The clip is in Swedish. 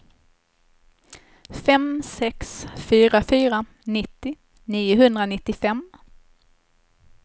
fem sex fyra fyra nittio niohundranittiofem